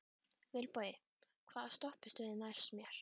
Vilbogi, hvaða stoppistöð er næst mér?